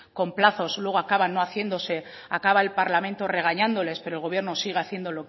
con plazos luego acaban no haciéndose acaba el parlamento regañándoles pero el gobierno sigue haciendo